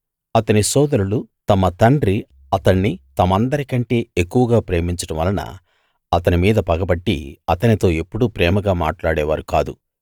అతని సోదరులు తమ తండ్రి అతణ్ణి తమందరికంటే ఎక్కువగా ప్రేమించడం వలన అతని మీద పగపట్టి అతనితో ఎప్పుడూ ప్రేమగా మాట్లాడేవారు కాదు